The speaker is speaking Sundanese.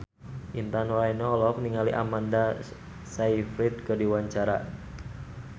Intan Nuraini olohok ningali Amanda Sayfried keur diwawancara